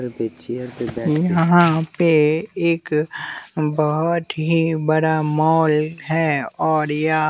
यहाँ पे एक बहुत ही बड़ा मॉल है और या--